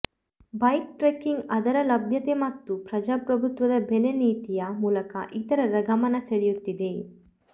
bike trekking ಅದರ ಲಭ್ಯತೆ ಮತ್ತು ಪ್ರಜಾಪ್ರಭುತ್ವದ ಬೆಲೆ ನೀತಿಯ ಮೂಲಕ ಇತರರ ಗಮನ ಸೆಳೆಯುತ್ತಿದೆ